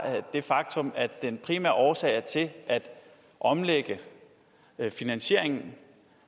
det faktum at den primære årsag til at omlægge finansieringen